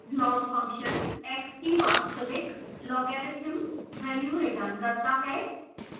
log function x की वास्तविक logarithm value returns करता है